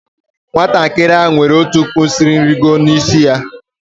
Nwatakịrị ahụ nwere ọkpụisieringo n'isi ya.